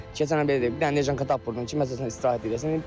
Keçən il belə bir dənə neşanka tapıb vurdun ki, məsəl üçün istirahət eləsin.